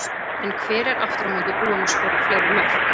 En hver er aftur á móti búinn að skora fleiri mörk?